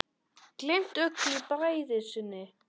Gleymt öllu í bræði sinni.